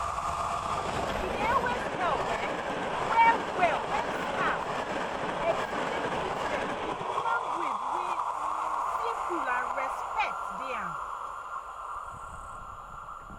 e dey really help um well well when staff um explain treatment with language wey um simple and respect dey am.